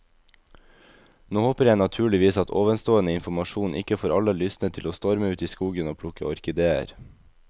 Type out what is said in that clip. Nå håper jeg naturligvis at ovenstående informasjon ikke får alle lystne til å storme ut i skogen og plukke orkideer.